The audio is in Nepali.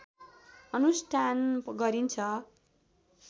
अनुष्ठान गरिन्छ